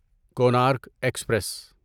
Konark express